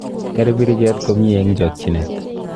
Ker biriket komnyie eng chakchinet.